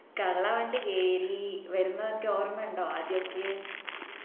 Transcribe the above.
കള്ളവണ്ടി കേറി വരുന്ന ഒക്കെ ഓർമ്മയുണ്ടോ ആദ്യോക്കെ